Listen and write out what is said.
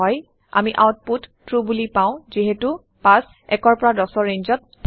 আমি output true বোলি পাওঁ যিহেটো ৫ ১ ১০ৰ ৰেঞ্জত থাকে